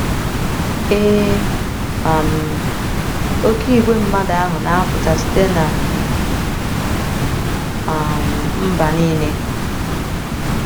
Ee, um oké igwe mmadụ ahụ na - apụta site ‘ ná um mba nile. ’